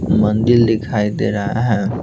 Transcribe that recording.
मंदिर दिखाई दे रहा है।